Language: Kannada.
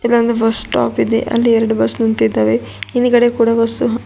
ಇಲ್ಲೊಂದು ಬಸ್ ಸ್ಟಾಪ್ ಇದೆ ಅಲ್ಲಿ ಎರಡು ಬಸ್ ನಿಂತಿದ್ದಾವೆ ಹಿಂದ್ಗಡೆ ಕೂಡ ಬಸ್ಸು --